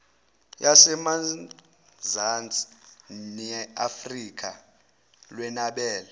yasemazansi neafrika lwenabele